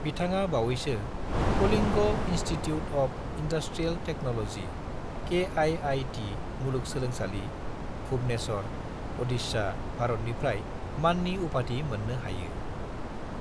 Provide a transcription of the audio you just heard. बिथाङा बावैसो Kalinga institute of industrial technology (KIIT) मुलुग सोलोंसालि, भुवनेश्वर, अडिशा, भारतनिफ्राय माननि उपाधि मोननो हायो।